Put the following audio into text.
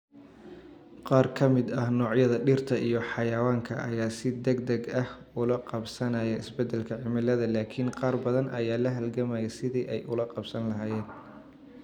Qaar ka mid ah noocyada dhirta iyo xayawaanka ayaa si degdeg ah ula qabsanaya isbeddelka cimilada, laakiin qaar badan ayaa la halgamaya sidii ay ula qabsan lahaayeen.